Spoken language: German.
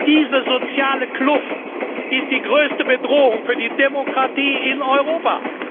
Diese soziale Kluft ist die größte Bedrohung für die Demokratie in Europa!